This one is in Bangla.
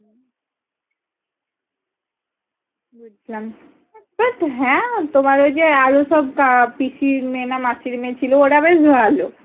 হম বুঝলাম but হ্যাঁ তোমার ওই যে আরো সব কে পিসির মেয়ে না মাসির মেয়ে ছিল ওরা বেশ ভালো